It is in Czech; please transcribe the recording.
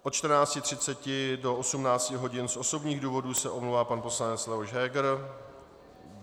Od 14.30 do 18 hodin z osobních důvodů se omlouvá pan poslanec Leoš Heger.